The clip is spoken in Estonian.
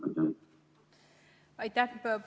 Aitäh!